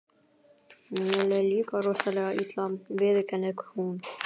Mér leið líka rosalega illa, viðurkennir hún.